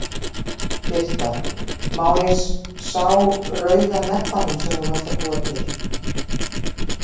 Birta: Má ég sá rauða nebbann sem þú varst að búa til?